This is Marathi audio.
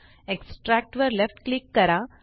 एक्स्ट्रॅक्ट वर लेफ्ट क्लिक करा